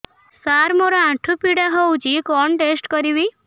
ସାର ମୋର ଆଣ୍ଠୁ ପୀଡା ହଉଚି କଣ ଟେଷ୍ଟ କରିବି